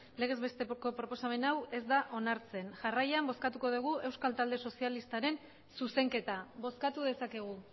legez besteko proposamen hau ez da onartzen jarraian bozkatuko dugu euskal talde sozialistaren zuzenketa bozkatu dezakegu